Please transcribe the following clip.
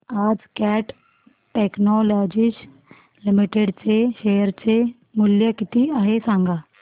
आज Cat Technologies Limited चे share चे मूल्य किती आहे सांगा